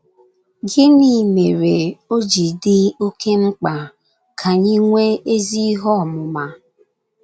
Gịnị mere o ji dị oké mkpa ka anyị nwee ezi ihe ọmụma?